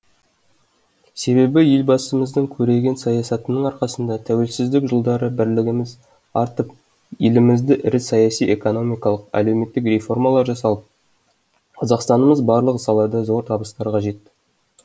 себебі елбасымыздың көреген саясатының арқасында тәуелсіздік жылдары бірлігіміз артып елімізде ірі саяси экономикалық әлеуметтік реформалар жасалып қазақстанымыз барлық салада зор табыстарға жетті